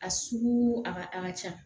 A sugu a ka a ka ca